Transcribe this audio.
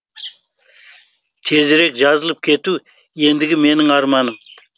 тезірек жазылып кету ендігі менің арманым